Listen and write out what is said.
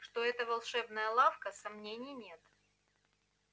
что это волшебная лавка сомнений нет